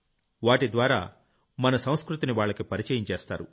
వాటిద్వారా మన సంస్కృతిని వాళ్లకి పరిచయం చేస్తారు